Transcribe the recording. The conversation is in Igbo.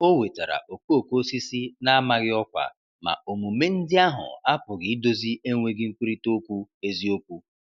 O wetara okooko osisi na-amaghị ọkwa, ma omume ndị ahụ apụghị idozi enweghị nkwurịta okwu eziokwu.